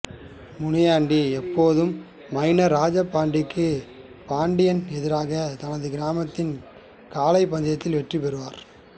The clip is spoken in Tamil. முனியாண்டி எப்போதும் மைனர் ராஜபாண்டிக்கு பாண்டியன் எதிராக தனது கிராமத்தின் காளை பந்தயத்தில் வெற்றி பெறுவார்